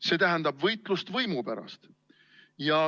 See tähendab võitlust võimu pärast.